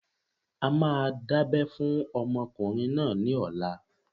A máa dábẹ́ fún ọmọkùnrin náà ní ọ̀la.